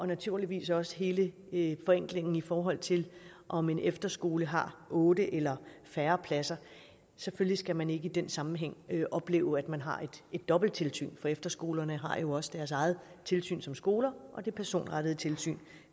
naturligvis også hele hele forenklingen i forhold til om en efterskole har otte eller færre pladser selvfølgelig skal man ikke i den sammenhæng opleve at man har et dobbelt tilsyn for efterskolerne har jo også deres eget tilsyn som skoler og det personrettede tilsyn